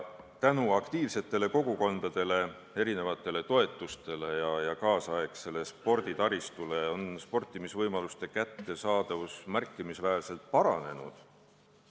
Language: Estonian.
Tänu aktiivsetele kogukondadele, erinevatele toetustele ja kaasaegsele sporditaristule on sportimisvõimalused märkimisväärselt paranenud.